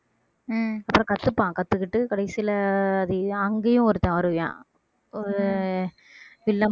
ஆஹ் அப்புறம் கத்துப்பான் கத்துக்கிட்டு கடைசியிலே அது அங்கேயும் ஒருத்தன் வருவான் ஒரு வில்ல~